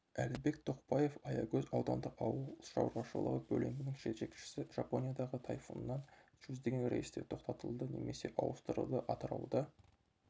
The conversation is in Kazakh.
әлібек тоқбаев аягөз аудандық ауыл шаруашылығы бөлімінің жетекшісі жапониядағы тайфуннан жүздеген рейстер тоқтатылды немесе ауыстырылды атырауда